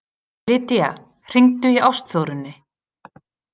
Lydia, hringdu í Ástþórunni.